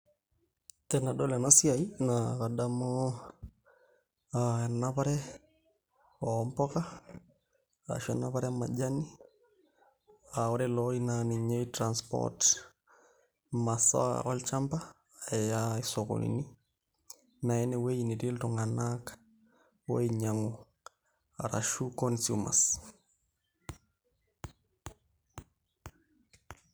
Tenedol ena siai naa kadamu enapare oompuka arashu enapare e majani aa ore ele ori naa ninye oi [cs[transport imasaa olchamba aya isokonini naa aya enwueji netii iltung'anak oinyiang'u arashu consumers.